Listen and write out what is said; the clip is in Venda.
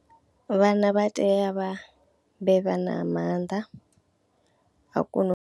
Vhana vha tea vha ambe vha na maanḓa a kona u.